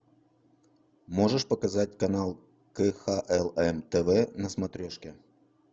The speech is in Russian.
можешь показать канал кхлм тв на смотрешке